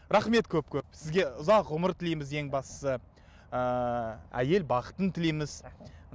рахмет көп көп сізге ұзақ ғұмыр тілейміз ең бастысы ыыы әйел бақытын тілейміз